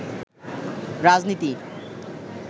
রাজনীতি